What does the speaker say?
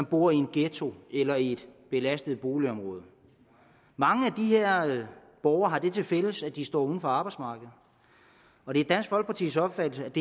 bor i en ghetto eller i et belastet boligområde mange af de her borgere har det tilfælles at de står uden for arbejdsmarkedet og det er dansk folkepartis opfattelse at